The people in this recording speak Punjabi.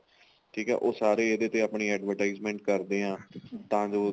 ਠੀਕ ਏ ਉਹ ਸਾਰੇ ਇਹਦੇ ਤੇ ਆਪਣੀ advertisement ਕਰਦੇ ਆ ਤਾਂ ਜੋ